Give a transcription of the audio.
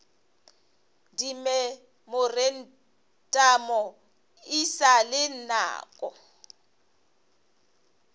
dimemorantamo e sa le nako